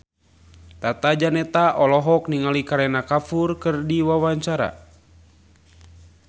Tata Janeta olohok ningali Kareena Kapoor keur diwawancara